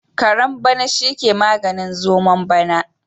Kare bana shi ke maganin zomon bana.